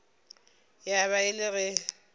ya ba e le ge